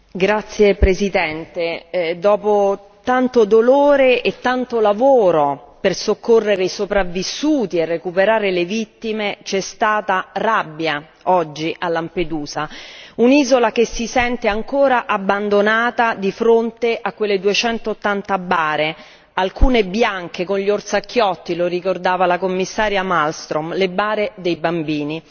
Signor Presidente, onorevoli colleghi, dopo tanto dolore e tanto lavoro per soccorrere i sopravvissuti e recuperare le vittime, c'è stata rabbia oggi a Lampedusa. Un'isola che si sente ancora abbandonata di fronte a quelle 280 bare, alcune bianche con gli orsacchiotti lo ricordava la Commissaria Malmström le bare dei bambini.